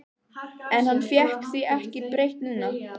En hann fékk því ekki breytt núna.